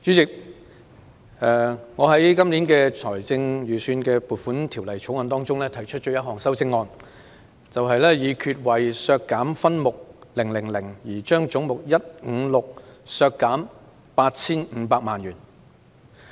主席，我就《2019年撥款條例草案》提出了1項修正案：議決為削減分目000而將總目156削減 8,500 萬元。